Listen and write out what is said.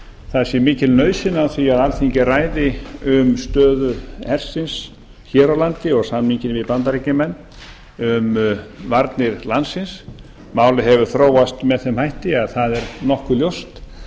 það sé mikil nauðsyn á því að alþingi ræði um stöðu hersins hér á landi og samninginn við bandaríkjamenn um varnir landsins málið hefur þróast með þeim hætti að það er nokkuð ljóst